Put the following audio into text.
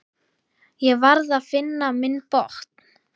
Ég varð að finna minn botn.